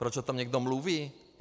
Proč o tom někdo mluví?